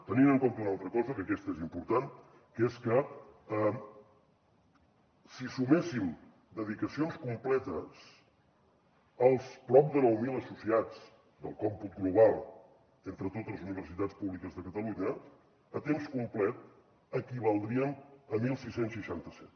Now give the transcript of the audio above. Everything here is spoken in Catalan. tenint en compte una altra cosa que aquesta és important que és que si suméssim dedicacions completes els prop de nou mil associats del còmput global entre totes les universitats públiques de catalunya a temps complet equivaldrien a setze seixanta set